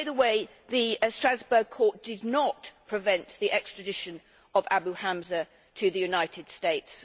By the way, the Strasbourg court did not prevent the extradition of Abu Hamza to the United States.